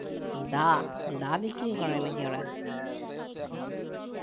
দা দা বিক্রি করে নাকি ওরা